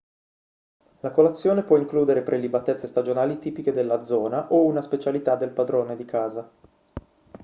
la colazione può includere prelibatezze stagionali tipiche della zona o una specialità del padrone di casa